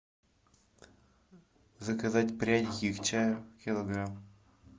заказать пряники к чаю килограмм